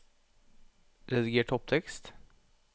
Rediger topptekst